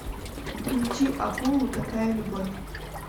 включи акулу такая любовь